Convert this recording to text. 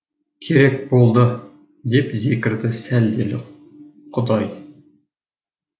керек болды деп зекірді сәлделі құдай